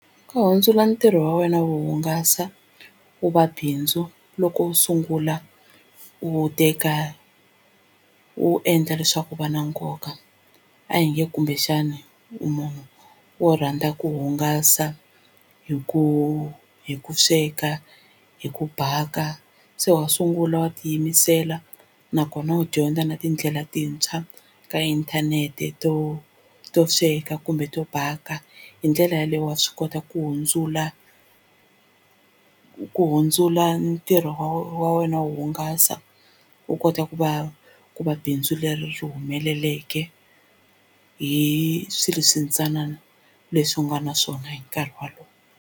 Ku hundzula ntirho wa wena wo hungasa wu va bindzu loko u sungula u wu teka u wu endla leswaku wu va na nkoka a hi nge kumbexana u munhu wo rhandza ku hungasa hi ku hi ku sweka hi ku bhaka se wa sungula wa tiyimisela nakona u dyondza na tindlela tintshwa ka inthanete to to sweka kumbe to bhaka hi ndlela yeleyo wa swi kota ku hundzula ku hundzula ntirho wa wena wo hungasa wu kota ku va ku va bindzu leri ri humeleleke hi swilo swintsanana leswi u nga na swona hi nkarhi walowo.